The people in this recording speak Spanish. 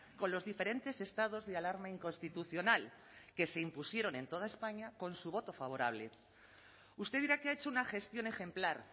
con los diferentes estados de alarma inconstitucional que se impusieron en toda españa con su voto favorable usted dirá que ha hecho una gestión ejemplar